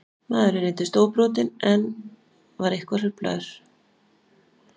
Maðurinn reyndist óbrotinn en eitthvað hruflaður